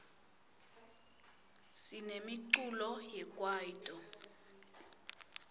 sinemiculo we kwaito